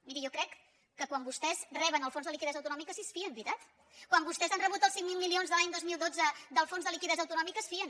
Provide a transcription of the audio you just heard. miri jo crec que quan vostès reben el fons de liquiditat autonòmica sí que se’n fien veritat quan vostès han rebut els cinc mil milions de l’any dos mil dotze del fons de liquiditat autonòmica se’n fien